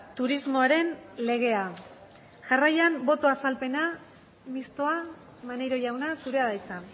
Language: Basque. turismoaren legea jarraian boto azalpena mistoa maneiro jauna zurea da hitza